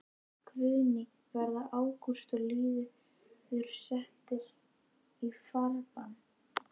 Guðný: Verða Ágúst og Lýður settir í farbann?